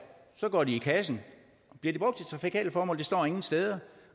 så går de i kassen bliver de brugt til trafikale formål det står ingen steder